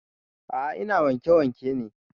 A'a ina wanke wanke ne